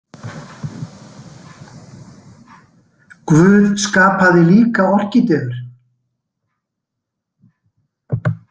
Guð skapaði líka orkídeur